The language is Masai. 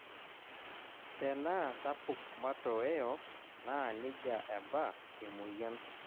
Tenaa sapuk matoeo, naa nejia eba emoyian.